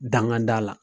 Danga da la